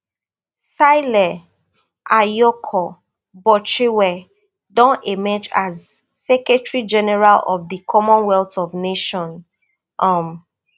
shirley ayorkor botchwey don emerge as secretary general of di common wealth of nations um